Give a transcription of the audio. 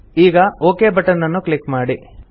ಈಗ okay button click ಮಾಡಿ